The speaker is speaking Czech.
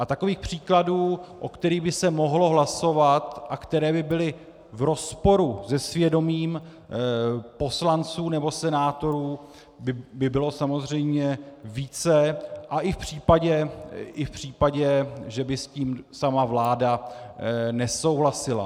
A takových příkladů, o kterých by se mohlo hlasovat a které by byly v rozporu se svědomím poslanců nebo senátorů, by bylo samozřejmě více, a i v případě, že by s tím sama vláda nesouhlasila.